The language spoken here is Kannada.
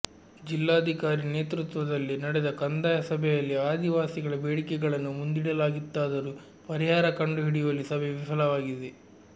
ಜಿಲ್ಲಾಧಿಕಾರಿ ನೇತೃತ್ವದಲ್ಲಿ ನಡೆದ ಕಂದಾಯ ಸಭೆಯಲ್ಲಿ ಆದಿವಾಸಿಗಳ ಬೇಡಿಕೆಗಳನ್ನು ಮುಂದಿಡಲಾಗಿತ್ತಾದರೂ ಪರಿಹಾರ ಕಂಡು ಹಿಡಿಯುವಲ್ಲಿ ಸಭೆ ವಿಫಲವಾಗಿದೆ